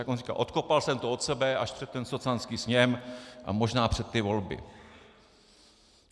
Jak on říká: Odkopal jsem to od sebe až před ten socanský sněm a možná před ty volby.